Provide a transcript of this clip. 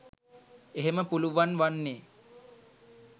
එහෙම පුළුවන් වන්නේ